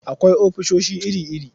Akwai ofisoshi iri-iri.